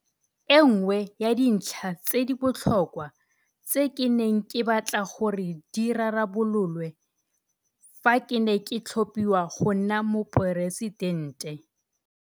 E nngwe ya dintlha tse di botlhokwa tse ke neng ke batla gore di rarabololwe fa ke ne ke tlhophiwa go nna Moporesidente